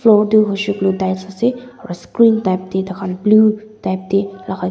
lotu hushi colu tiles ase aru sron tike rakha tu blue tike te rakha.